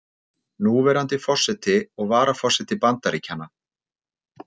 Núverandi forseti og varaforseti Bandaríkjanna.